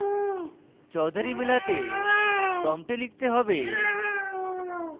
chaudhury মেলাতে prompt লিখতে হবে: